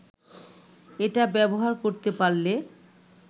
এটা ব্যবহার করতে পারলে